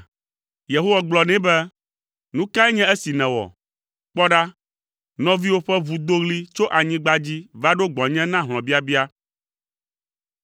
Yehowa gblɔ nɛ be, “Nu kae nye esi nèwɔ? Kpɔ ɖa, nɔviwò ƒe ʋu do ɣli tso anyigba dzi va ɖo gbɔnye na hlɔ̃biabia.